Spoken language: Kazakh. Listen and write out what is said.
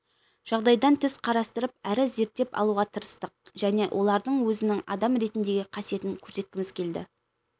жағдайдан тыс қарастырып әрі зерттеп алуға тырыстық және олардың өзінің адам ретіндегі қасиетін көрсеткіміз келді